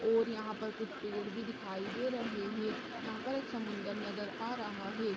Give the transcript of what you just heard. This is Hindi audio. और यहाँ पर कुछ पेड़ भी दिखाई दे रहे है यहाँ पर एक समुंदर नजर आ रहा है।